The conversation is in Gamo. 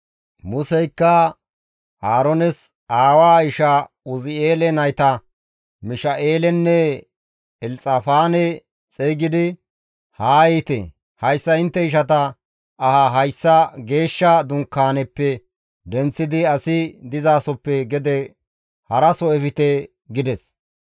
Museykka Aaroones aawaa isha Uzi7eele nayta Misha7eelenne Elxafaane xeygidi, «Haa yiite! Hayssa intte ishata ahaa geeshsha Dunkaaneppe denththidi asi dizasoppe gede haraso efte» gides.